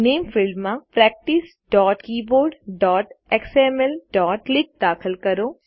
નામે ફિલ્ડમાં practicekeyboardxmlક્લિક દાખલ કરો